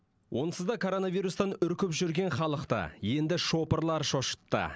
онсыз да коронавирустан үркіп жүрген халықты енді шопырлар шошытты